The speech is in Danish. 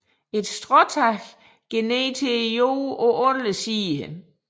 Stråtaget går ned til jorden på alle sider